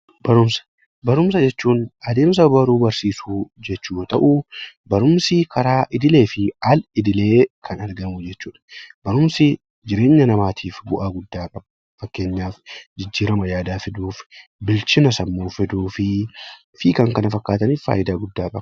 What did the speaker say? Barumsa jechuun adeemsa baruu fi barsiisuu jechuu yoo ta'u, barumsi karaa idilee fi al idilee kan argamu jechuudha. Barumsi jireenya namaatiif bu'aa guddaa qaba. Fakkeenyaaf jijjiirama yaadaa fiduuf, bilchina sammuu fiduu fi kan kana fakkaataniif faayidaa guddaa qaba.